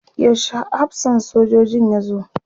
yaushe hafsan sojojin ya zo?